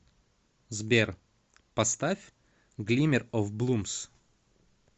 сбер поставь глиммер оф блумс